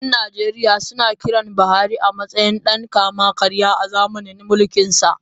‘Yan Najeriya sun kira Buhari a matsayin dan kama-karya a zamanin mulkinsa.